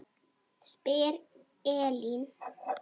spyr Elín.